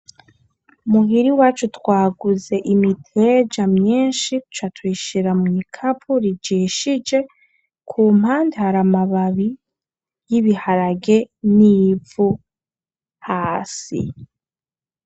Muhira iwacu twaguze imiteja myinshi duca tuyishira tuyishira mu bikapo bijishije kumpande hari amababi y'ibiharage n'ivu hasi.